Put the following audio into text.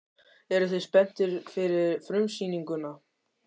Eruð þið spenntir fyrir frumsýningunni?